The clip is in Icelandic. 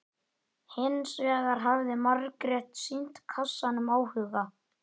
Hins vegar hafði Margrét sýnt kassanum áhuga.